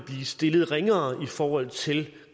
stillet ringere i forhold til